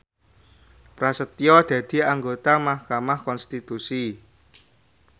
Prasetyo dadi anggota mahkamah konstitusi